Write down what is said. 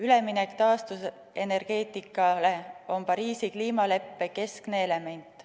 Üleminek taastuvenergeetikale on Pariisi kliimaleppe keskne element.